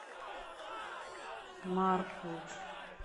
маркул